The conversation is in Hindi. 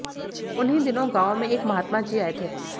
उन्हीं दिनों गांव में एक महात्मा जी आये थे